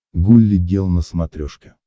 гулли гел на смотрешке